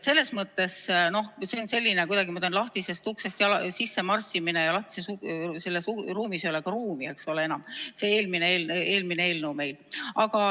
Selles mõttes on see kuidagi nagu lahtisest uksest sisse marssimine ja selles lahtises ruumis ei ole enam ruumi.